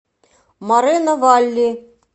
морено валли